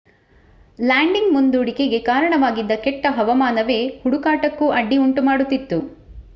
landing ಮುಂದೂಡಿಕೆಗೆ ಕಾರಣವಾಗಿದ್ದ ಕೆಟ್ಟ ಹವಾಮಾನವೇ ಹುಡುಕಾಟಕ್ಕೂ ಅಡ್ಡಿ ಉಂಟು ಮಾಡುತ್ತಿತ್ತು